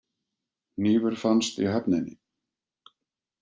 Hnífur fannst í höfninni